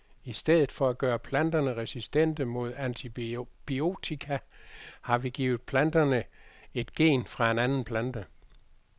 I stedet for at gøre planterne resistente mod antibiotika, har vi givet planterne et gen fra en anden plante.